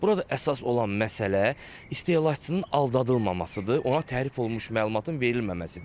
Burada əsas olan məsələ istehlakçının aldadılmamasıdır, ona tərif olunmuş məlumatın verilməməsidir.